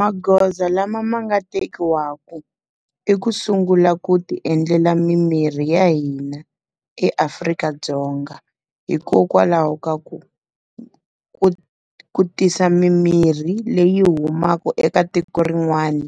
Magoza lama ma nga tekiwaku i ku sungula ku ti endlela mimirhi ya hina eAfrika-Dzonga. Hikokwalaho ka ku, ku ku tirhisa mimirhi leyi humaka eka tiko rin'wani